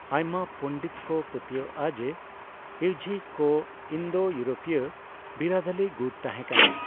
ᱟᱭᱢᱟ ᱯᱩᱱᱰᱤᱛ ᱠᱚ ᱯᱟᱹᱛᱭᱟᱹᱣᱼᱟᱜ ᱡᱮ ᱤᱭᱡᱷᱤ ᱠᱚ ᱤᱱᱫᱳᱼᱤᱭᱨᱳᱯᱤᱭᱚ ᱵᱤᱨᱟᱹᱫᱟᱞᱤ ᱜᱩᱴ ᱛᱟᱦᱮᱸ ᱠᱟᱱᱟᱭ ᱾